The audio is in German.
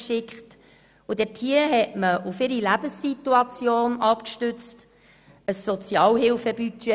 Diese erstellten für die Kommissionsmitglieder gestützt auf ihre jeweiligen Lebenssituationen ein Sozialhilfebudget.